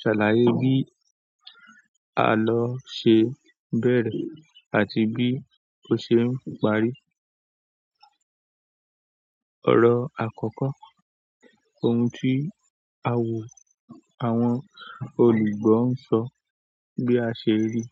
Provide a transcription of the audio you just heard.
Ṣàlàyé bí a lọ ṣe ń bẹ̀rẹ̀ àti bí ó ṣe ń parí. Ọ̀rọ̀ àkọ́kọ́, ohun tí a wò àwọn olùgbọ́ ń sọ bí a ṣe rí.